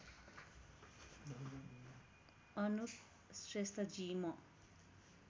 अनुप श्रेष्ठजी म